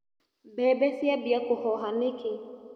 Mbembe ciambia kũhoha nĩkĩ.